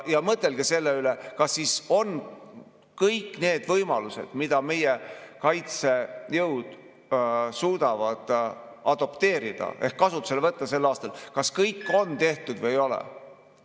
Mõtelge selle üle, kas kõik need võimalused, mida meie kaitsejõud suudavad adopteerida ehk kasutusele võtta sel aastal, on tehtud või ei ole.